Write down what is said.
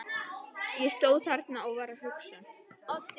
Ég stóð þarna og var að hugsa.